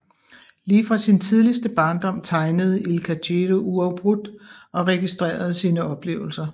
Lige fra sin tidligste barndom tegnede Ilka Gedő uafbrudt og registrerede sine oplevelser